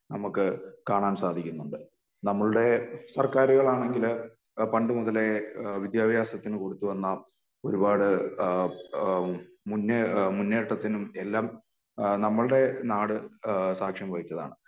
നമുക്ക് കാണാൻ സാധിക്കുന്നുണ്ട് നമ്മളുടെ സർകാറുകളാണെങ്കില് പണ്ട് മുതലേ വിദ്യാഭ്യാസത്തിന് കൊടുത്തു വന്ന ഒരുപാട് ഇഹ് ഇഹ് മുന്നേ മുന്നേറ്റത്തിനും എല്ലാം ഇഹ് നമ്മളുടെ നാട് ഇഹ് സാക്ഷ്യം വഹിച്ചതാണ്